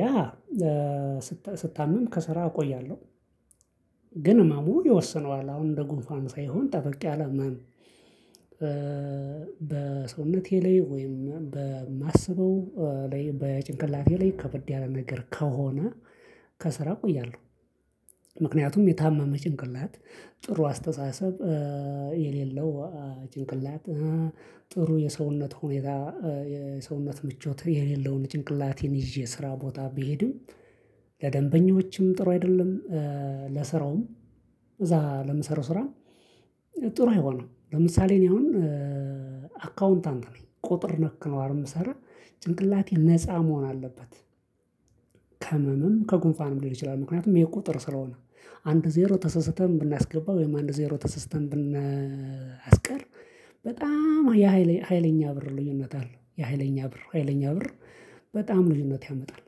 ያ ስታመም ከስራ እቆያለሁ። ግን ህመሙ ይወስነዋል አሁን እንደ ጉንፋን ሳይሆን ጠበቅ ያለ መም። በሰውነቴ ላይ ወይም በማስበው ላይ በጭንቅላቴ ላይ ከበድ ያለ ነገር ከሆነ። ከስራ ቆያለሁ። ምክንያቱም የታመመ ጭንቅላት ጥሩ አስተሳሰብ የሌለው ጭንቅላት ጥሩ የሰውነት ሁኔታ የሰውነት ምቾት የሌለውን ጭንቅላቴን ይዤ ስራ ቦታ ቢሄድም። ለደንበኞችም ጥሩ አይደለም። ለስራውም እዛ ለምሰራው ስራ ጥሩ አይሆንም። ለምሳሌ እኔ አሁን አካውንታንት ነኝ ቁጥር ነክ ነው አር ምሰራ ጭንቅላቴ ነፃ መሆን አለበት። ከመም ከጉንፋንም ሊሆን ይችላል። ምክንያቱም ቁጥር ስለሆነ አንድ ዜሮ ተሰስተን ብናስገባ ወይም አንድ ዜሮ ተሰስተን ብናስቀር። በጣም የሃይለኛ ብር ልዩነት አለው የሃይለኛ ብር ሀይለኛ ብር በጣም ልዩነት ያመጣል።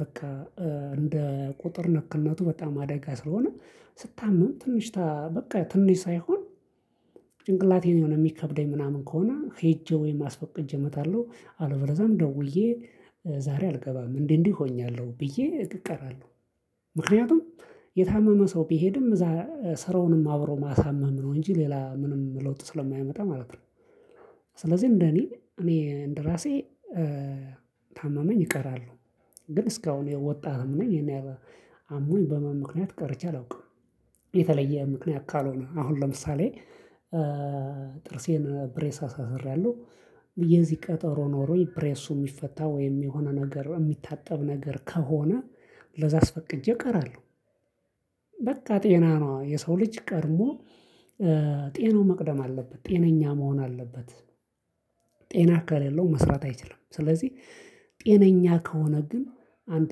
በቃ እንደ ቁጥር ነክነቱ በጣም አደጋ ስለሆነ ስታመም ትንሽታ በቃ ትንሽ ሳይሆን። ጭንቅላቴን የሆነ የሚከብደኝ ምናምን ከሆነ ሄጄ ወይም አስፈቅጅ እመጣለሁ አልበለዛም ደውዬ ዛሬ አልገባም እንዲ እንዲህ ሆኛለሁ ብዬ እቀራለሁ። ምክንያቱም የታመመ ሰው ቢሄድም እዛ ስራውንም አብሮ ማሳመም ነው እንጂ ሌላ ምንም ለውጥ ስለማያመጣ ማለት ነው። ስለዚህ እንደኔ እኔ እንደራሴ ታመመኝ እቀራሉ። ግን እስካሁን የወጣጥትም ነኝ። አሞኝ በህመም ምክንያት ቀርቼ አላውቅም። የተለየ ምክንያት ካልሆነ አሁን ለምሳሌ ጥርሴን ብሬስ አሳስራለሁ። የዚህ ቀጠሮ ኖሮኝ ፕሬሱ ሚፈታ ወይም የሆነ ነገር የሚታጠብ ነገር ከሆነ ለዛ አስፈቅጄ እቀራለሁ። በቃ ጤና ነው የሰው ልጅ ቀድሞ ጤናው መቅደም አለበት ጤነኛ መሆን አለበት። ጤና ከሌለው መስራት አይችልም ስለዚህ። ጤነኛ ከሆነ ግን አንድ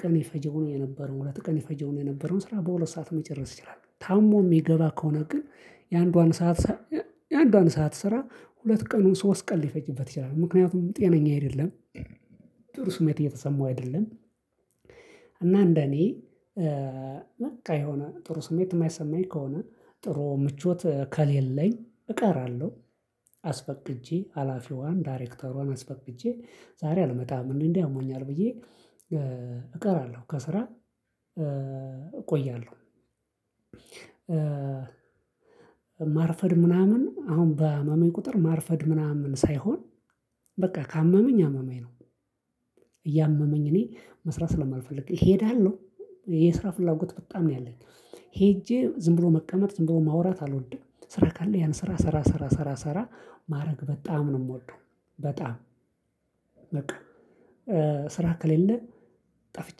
ቀን የፈጀው የነበረው ሁለት ቀን የፈጀው ነው የነበረው ስራ በሁለት ሰዓት መጨረስ ይችላል። ታሞ ሚገባ ከሆነ ግን የአንዷን ሰዓት የአንዷን ሰዓት ስራ ሁለት ቀኑን ሶስት ቀን ሊፈጅበት ይችላል ምክንያቱም ጤነኛ አይደለም። ጥሩ ስሜት እየተሰማው አይደለም። እና እንደኔ በቃ የሆነ ጥሩ ስሜት የማይሰማኝ ከሆነ ጥሩ ምቾት ከሌለኝ እቀራለሁ። አስፈቅጄ ሀላፊዋን ዳይሬክተሯን አስፈቅጄ ዛሬ አልመጣም እንዴ እንዲ አሞኛል ብዬ እቀራለሁ ከስራ እቆያለሁ። ማርፈድ ምናምን አሁን ባመመኝ ቁጥር ማርፈድ ምናምን ሳይሆን በቃ ካመመኝ አመመኝ ነው። እያመመኝ እኔ መስራት ስለማልፈልግ እሄዳለሁ የስራ ፍላጎት በጣም ነው ያለኝ። ሄጄ ዝም ብሎ መቀመጥ ዝም ብሎ ማውራት አልወድም። ስራ ካለ ያን ስራ ስራ ስራ ስራ ማድረግ በጣም ነው ምወደው። በጣም በቃ ስራ ከሌለ ጠፍቼ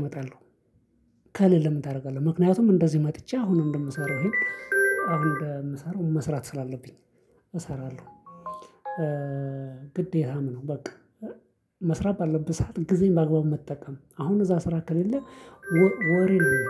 እመጣለሁ። ካለለ ምን ታደርጋለህ? ምክንያቱም እንደዚህ መጥቼ አሁን እንደምሰራው ይሄን አሁን እንደምሰራው መስራት ስላለብኝ እሰራለሁ። ግዴታም ነው በቃ። መስራት ባለብህ ሰዓት ጊዜን በአግባቡ መጠቀም አሁን እዛ ስራ ከሌለ ወሬ ነው።